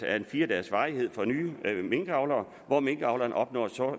er af fire dages varighed for nye minkavlere hvor minkavlerne opnår et